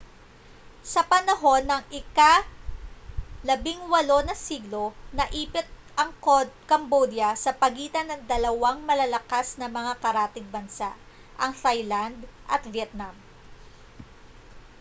sa panahon ng ika-18 na siglo naipit ang cambodia sa pagitan ng dalawang malalakas na mga karatig bansa ang thailand at vietnam